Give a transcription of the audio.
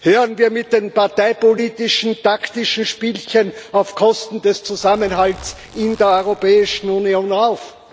Hören wir mit den parteipolitischen, taktischen Spielchen auf Kosten des Zusammenhalts in der Europäischen Union auf!